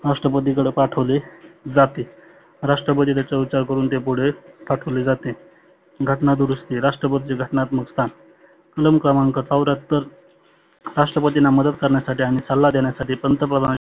राष्ट्रपतीकडे पाठवले जाते. राष्ट्रपती त्याचा करुण ते पुढे पाठवले जाते. घटना दुरुस्ती राष्ट्रपती घटनात्मक स्थान कलम क्रमांक चवर्याहत्तर राष्ट्रपतींना मदत करण्यासाठी आणि सल्ला देण्यासाठी पंतप्रधान